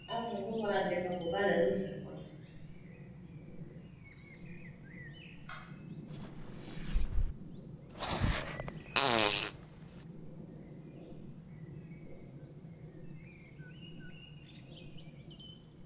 Awa tozalikomona ndeko ya mobali azo sekola.